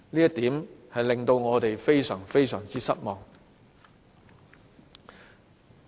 這點令我們非常失望。